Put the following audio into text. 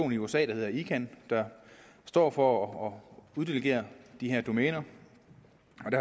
i usa det hedder icann der står for at uddelegere de her domæner